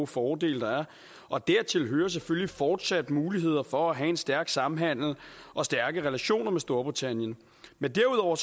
fordele der er og dertil hører selvfølgelig fortsatte muligheder for at have en stærk samhandel og stærke relationer med storbritannien men derudover